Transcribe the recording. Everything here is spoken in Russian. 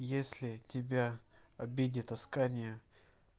если тебя обидит аскания